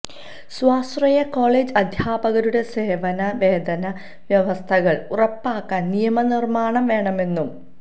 സ്വാശ്രയകോളേജ് അധ്യാപകരുടെ സേവന വേതന വ്യവസ്ഥകള് ഉറപ്പാക്കാന് നിയമനിര്മ്മാണം വേണമെന്നും